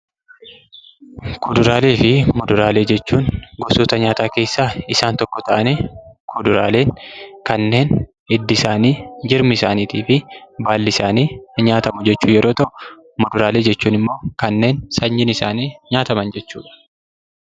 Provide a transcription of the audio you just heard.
Kuduraalee fi muduraalee jechuun gosoota nyaataa keessaa isaan tokko ta'anii, kuduraalee kanneen hiddi isaanii, jirmi isaaniitii fi baalli isaanii nyaatamu jechuu yeroo ta'u, muduraalee jechuun immoo kanneen sanyiin isaanii nyaataman jechuudha.